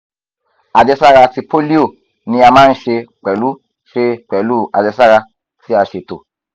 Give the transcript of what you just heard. ajẹsara ti polio ni a maa n ṣe pẹlu ṣe pẹlu ajẹsara ti a ṣeto